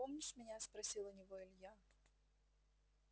помнишь меня спросил у него илья